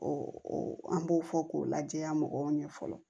an b'o fɔ k'o lajɛya mɔgɔw ɲɛ fɔlɔ